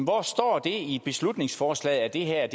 hvor står det i beslutningsforslaget at det her